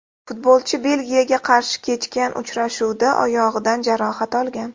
Futbolchi Belgiyaga qarshi kechgan uchrashuvda oyog‘idan jarohat olgan.